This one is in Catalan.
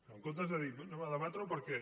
en comptes de dir bé debatem ho perquè